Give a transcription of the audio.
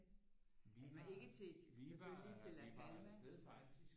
Ikke til selvfølgelig til La Palma